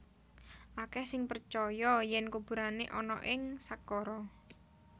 Akèh sing percaya yèn kuburané ana ing Saqqara